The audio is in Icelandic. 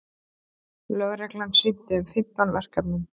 Lögreglan sinnti um fimmtán verkefnum